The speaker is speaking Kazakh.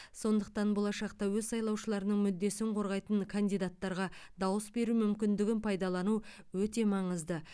сондықтан болашақта өз сайлаушыларының мүддесін қорғайтын кандидаттарға дауыс беру мүмкіндігін пайдалану өте маңызды